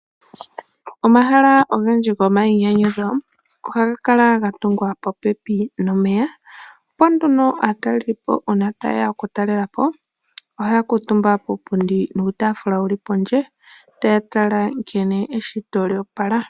Omahala ogendji gomainyanyudho ohaga kala ga tungwa popepi nomeya opo nduno aatalelipo uuna ta ye ya okutalela po, oha ya kuutumba kuupundi nuutaafula wu li pondje taya tala nkene eshito lya opala.